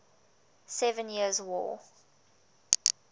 seven years war